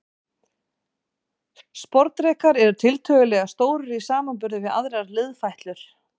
Sporðdrekar eru tiltölulega stórir í samanburði við aðrar liðfætlur.